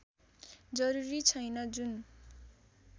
जरूरी छैन जुन